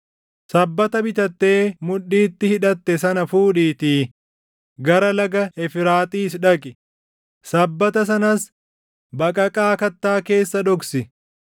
“Sabbata bitattee mudhiitti hidhatte sana fuudhiitii gara Laga Efraaxiis dhaqi; sabbata sanas baqaqaa kattaa keessa dhoksi.”